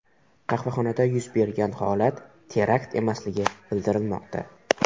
Qahvaxonada yuz bergan holat terakt emasligi bildirilmoqda.